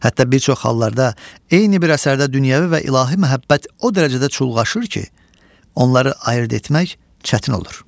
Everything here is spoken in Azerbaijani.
Hətta bir çox hallarda eyni bir əsərdə dünyəvi və ilahi məhəbbət o dərəcədə çulğaşır ki, onları ayırd etmək çətin olur.